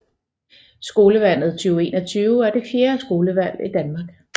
Skolevalget 2021 er det fjerde skolevalg i Danmark